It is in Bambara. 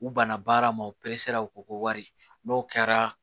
U banna baara ma u peresera u ko ko wari n'o kɛra